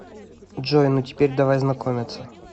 джой ну теперь давай знакомиться